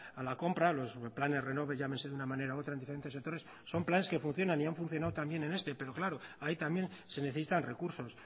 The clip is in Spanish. a la compra los planes renove llámese de una manera u otra en diferentes sectores son planes que funcionan y han funcionado también en este pero claro ahí también se necesitan recursos